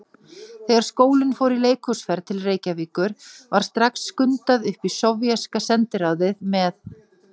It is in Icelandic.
Þegar skólinn fór í leikhúsferð til Reykjavíkur var strax skundað upp í sovéska sendiráðið með